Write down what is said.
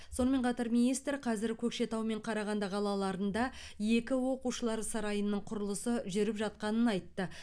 сонымен қатар министр қазір көкшетау және қарағанды қалаларында екі оқушылар сарайының құрылысы жүріп жатқанын айтты